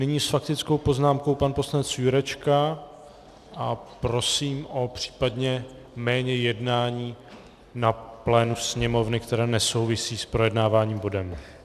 Nyní s faktickou poznámkou pan poslanec Jurečka a prosím o případně méně jednání na plénu Sněmovny, které nesouvisí s projednávaným bodem.